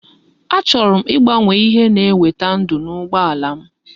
Achọrọ m igbanwe ihe na eweta ndu na ugbo alam